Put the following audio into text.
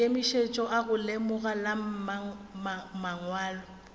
maikemišetšo a legora la mangwalo